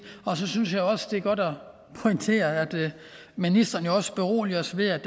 og så synes jeg også det er godt at pointere at ministeren også beroliger os ved at